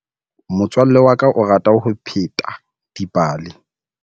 Motswalle wa ka o rata ho pheta dipale.